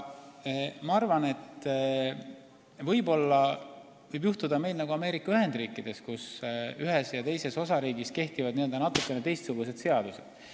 Ma arvan, et meil võiks minna nagu Ameerika Ühendriikides, kus ühes ja teises osariigis kehtivad natukene teistsugused seadused.